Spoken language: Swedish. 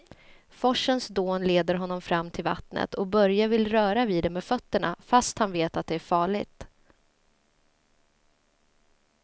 Forsens dån leder honom fram till vattnet och Börje vill röra vid det med fötterna, fast han vet att det är farligt.